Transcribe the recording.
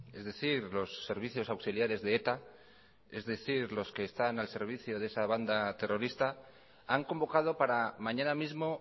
es decir los servicios auxiliares de eta es decir los que están al servicio de esa banda terrorista han convocado para mañana mismo